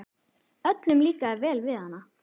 Öllum líkaði vel við hana.